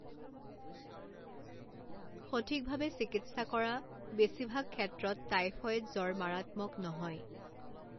সঠিকভাৱে চিকিৎসা কৰা, বেছিভাগ ক্ষেত্ৰত টাইফয়েড জ্বৰ মাৰাত্মক নহয়।